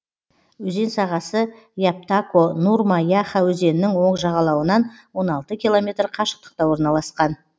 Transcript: өзен сағасы яптако нурма яха өзенінің оң жағалауынан он алты километр қашықтықта орналасқан